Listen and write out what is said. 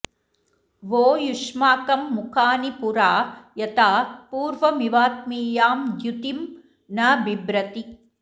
वो युष्माकं मुखानि पुरा यथा पूर्वमिवात्मीयां द्युतिं न बिभ्रति